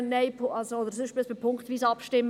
Nein, also sonst muss man punktweise abstimmen.